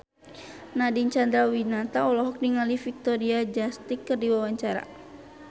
Nadine Chandrawinata olohok ningali Victoria Justice keur diwawancara